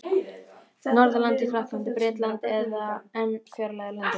Norðurlanda: í Frakklandi, Bretlandi eða enn fjarlægari löndum.